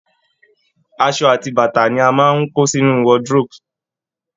Àṣọ àti bàtà ni wọ́n máa ń kó sínu wardrobe